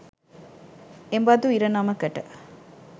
එබදු ඉරණමකට